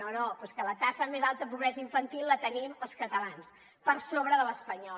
no no però és que la taxa més alta de pobresa infantil la tenim els catalans per sobre de l’espanyola